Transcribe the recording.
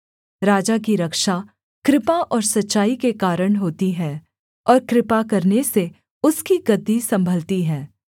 राजा की रक्षा कृपा और सच्चाई के कारण होती है और कृपा करने से उसकी गद्दी सम्भलती है